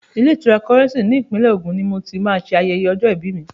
Ilé-ìtura Kọ́rẹ́ńsì ní ìpínlẹ̀ Ògùn ni mo ti máa ṣe ayẹyẹ ọjọ́-ìbí mi.